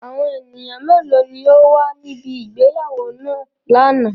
Awọn eniyan melo ni o wa nibi ìgbéyàwó naa lana?